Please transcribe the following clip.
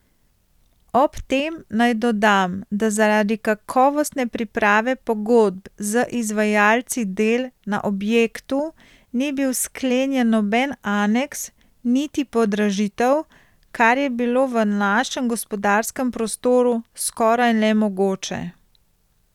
Ob tem naj dodam, da zaradi kakovostne priprave pogodb z izvajalci del na objektu ni bil sklenjen noben aneks, niti podražitev, kar je bilo v našem gospodarskem prostoru skoraj nemogoče.